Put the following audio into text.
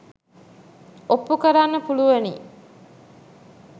ඔප්පු කරන්න පුළුවනි.